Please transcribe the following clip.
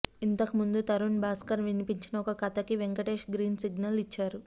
ఇంతకుముందు తరుణ్ భాస్కర్ వినిపించిన ఒక కథకి వెంకటేశ్ గ్రీన్ సిగ్నల్ ఇచ్చారు